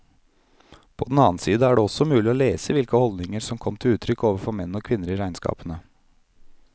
På den annen side er det også mulig å lese hvilke holdninger som kom til uttrykk overfor menn og kvinner i regnskapene.